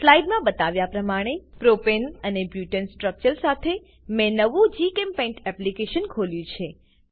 slide માં બતાવ્યા પ્રમાણે પ્રોપને અને બુટને સ્ટ્રક્ચર સાથે મેં નવું જીચેમ્પેઇન્ટ એપ્લીકેશન ખોલ્યું છે